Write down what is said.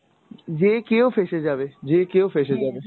যে কেউ ফেসে যাবে, যে কেউ ফেসে যাবে।